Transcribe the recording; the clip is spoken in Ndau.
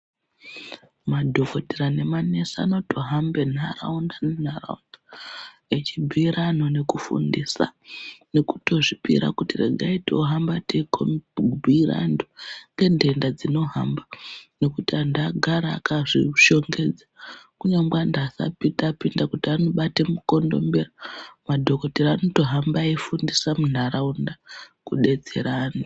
Madhogodhera nemanesi anotohambe nharaunda nenharaunda echibhuira antu nekufundisa nekutozvipira kuti regai tohamba timbuire antu ngenhenda dzinohamba. Nekuti antu agara akazvihlongedza kunyangwe antu asati apinda kuti anobata mukondombera madhogodheya anotohamba eifundisa antu munharaunda kudetsera antu.